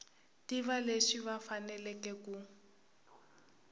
tiva leswi va faneleke ku